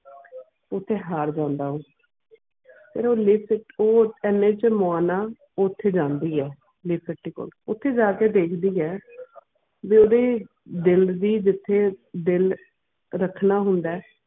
ਓਥੇ ਹਰ ਜਾਂਦਾ ਹੈ ਉਹ ਫਿਰ ਉਹ ਲਿਟ ਉਹ ਐਨੇ ਛ ਮੋਣਾ ਓਥੇ ਜਾਂਦੀਆਂ ਲੈਕਤੀ ਕੋਲ ਓਥੇ ਜਾ ਕੇ ਦਿਖਦੀਆਂ ਵੀ ਓਢਿ ਦਿਲ ਦੀ ਜਿਥੇ ਦਿਲ ਰੱਖਣਾ ਹੋਂਦ.